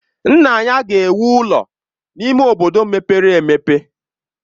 Nna ya ga-ewu ụlọ n'ime obodo mepere emepe.